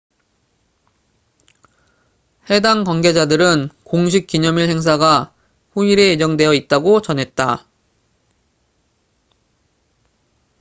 해당 관계자들은 공식 기념일 행사가 후일에 예정되어 있다고 전했다